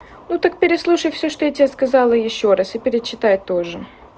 ну так переслушай всё что я тебе сказала ещё раз и перечитай тоже